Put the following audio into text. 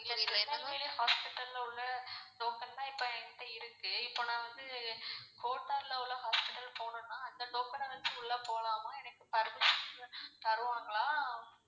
Tirunelveli hospital ல உள்ள token தான் இப்போ என்கிட்ட இருக்கு இப்போ நான் வந்து கோட்டார் ல உள்ள hospital போனுன்னா இந்த token அ வச்சி உள்ள போலாமா permisson தருவாங்களா?